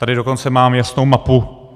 Tady dokonce mám jasnou mapu.